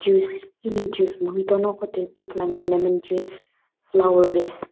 hile juice mojito noqo tuikeu ithuluani lemon juice flower vase .